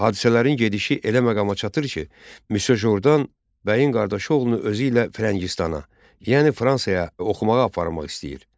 Hadisələrin gedişi elə məqama çatır ki, Misye Jordan bəyin qardaşı oğlunu özü ilə Firəngistana, yəni Fransaya oxumağa aparmaq istəyir.